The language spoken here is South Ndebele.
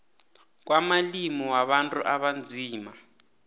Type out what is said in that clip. kwamalimi wabantu abanzima